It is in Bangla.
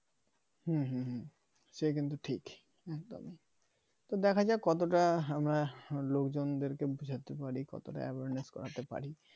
হুম হুম হুম সে কিন্তু ঠিক একদমই তো দেখা যাক আমরা লোকজনদেরকে বুঝতে পারি কতটা abhorrence করতে পারি